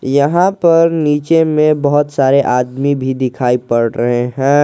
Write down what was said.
यहां पर नीचे में बहुत सारे आदमी भी दिखाई पड़ रहे हैं।